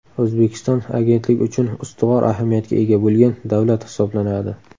O‘zbekiston agentlik uchun ustuvor ahamiyatga ega bo‘lgan davlat hisoblanadi.